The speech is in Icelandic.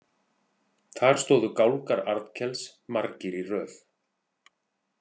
Þar stóðu gálgar Arnkels margir í röð.